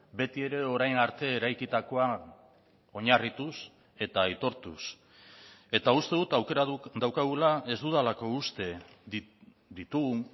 betiere orain arte eraikitakoa oinarrituz eta aitortuz eta uste dut aukera daukagula ez dudalako uste ditugun